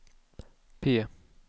P